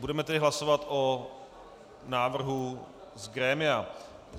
Budeme tedy hlasovat o návrhu z grémia.